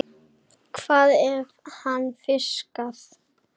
Hvað hefur hann fiskað?